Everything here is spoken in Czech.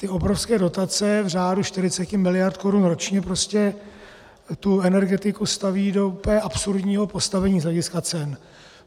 Ty obrovské dotace v řádu 40 mld. korun ročně prostě tu energetiku staví do úplně absurdního postavení z hlediska cen.